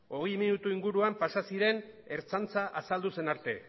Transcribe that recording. hogei minutu inguruan pasa ziren ertzaintza azaldu zen arte